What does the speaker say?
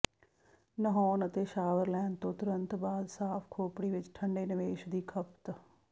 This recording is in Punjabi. ਨਹਾਉਣ ਅਤੇ ਸ਼ਾਵਰ ਲੈਣ ਤੋਂ ਤੁਰੰਤ ਬਾਅਦ ਸਾਫ਼ ਖੋਪੜੀ ਵਿੱਚ ਠੰਡੇ ਨਿਵੇਸ਼ ਦੀ ਖਪਤ